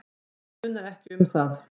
Það munar ekki um það.